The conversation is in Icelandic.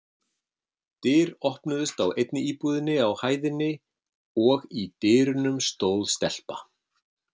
Dyr opnuðust á einni íbúðinni á hæðinni og í dyrunum stóð stelpa.